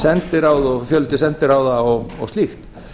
sendiráð og fjöldi sendiráða og slíkt